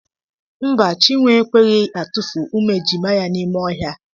Mba, Chinwe ekweghị atufu ụmụ ejima ya n'ime ọhịa.